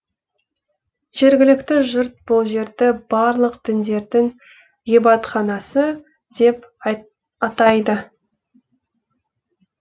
жергілікті жұрт бұл жерді барлық діндердің ғибадатханасы деп атайды